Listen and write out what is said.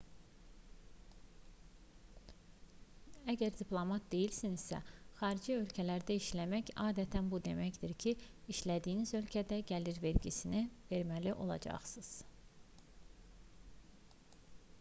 əgər diplomat deyilsinizsə xarici ölkələrdə işləmək adətən bu deməkdir ki işlədiyiniz ölkədə gəlir vergisi verməlisiniz